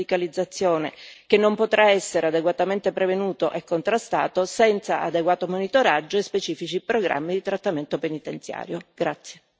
Penso in particolare al fenomeno della radicalizzazione, che non potrà essere adeguatamente prevenuto e contrastato senza adeguato monitoraggio e specifici programmi di trattamento penitenziario.